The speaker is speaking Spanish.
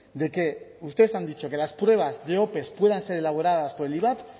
de que ustedes han dicho que las pruebas de opes puedan ser elaboradas por el ivap